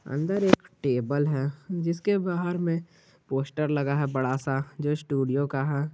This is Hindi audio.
अंदर एक टेबल है जिसके बाहर में पोस्टर लगा है बड़ा सा जो स्टूडियो का है।